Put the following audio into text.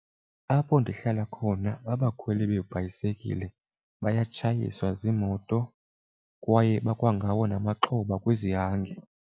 Apho ndihlala khona abakhweli beebhayisekile bayatshayiswa ziimoto kwaye bakwangawo namaxhoba kwizihange.